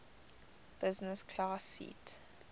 business class seat